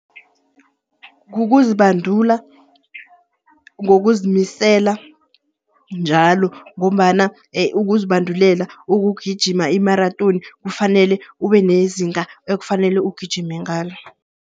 Kukuzibandula, ngokuzimisela njalo ngombana ukuzibandulela ukugijima imaratoni kufanele ube nezinga ekufanele ugijime ngalo.